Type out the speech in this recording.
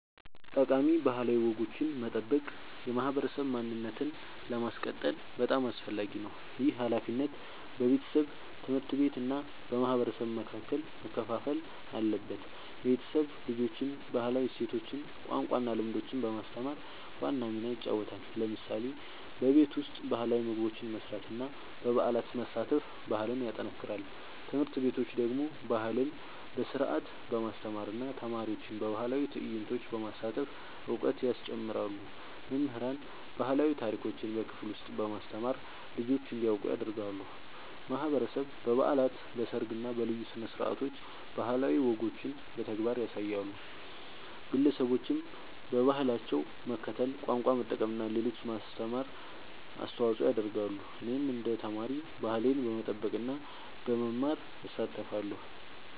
ጠቃሚ ባህላዊ ወጎችን መጠበቅ የማህበረሰብ ማንነትን ለማስቀጠል በጣም አስፈላጊ ነው። ይህ ሃላፊነት በቤተሰብ፣ ትምህርት ቤት እና በማህበረሰብ መካከል መከፋፈል አለበት። ቤተሰብ ልጆችን ባህላዊ እሴቶች፣ ቋንቋ እና ልምዶች በማስተማር ዋና ሚና ይጫወታል። ለምሳሌ በቤት ውስጥ ባህላዊ ምግቦች መስራት እና በበዓላት መሳተፍ ባህልን ያጠናክራል። ትምህርት ቤቶች ደግሞ ባህልን በስርዓት በማስተማር እና ተማሪዎችን በባህላዊ ትዕይንቶች በማሳተፍ እውቀት ያስጨምራሉ። መምህራን ባህላዊ ታሪኮችን በክፍል ውስጥ በማስተማር ልጆች እንዲያውቁ ያደርጋሉ። ማህበረሰብ በበዓላት፣ በሰርግ እና በልዩ ስነ-ስርዓቶች ባህላዊ ወጎችን በተግባር ያሳያል። ግለሰቦችም በባህላቸው መከተል፣ ቋንቋ መጠቀም እና ለሌሎች ማስተማር አስተዋጽኦ ያደርጋሉ። እኔም እንደ ተማሪ ባህሌን በመጠበቅ እና በመማር እሳተፋለሁ።